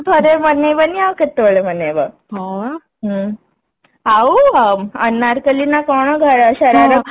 ଥରେ ମନେଇବନି ଆଉ କେତେବେଳେ ମନେଇବ ଆଉ ଅନାରକଲ୍ଲୀ ନା କଣ ଶରାରା